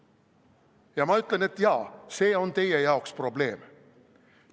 Ja ma ütlen, et jaa, see on teie jaoks probleem.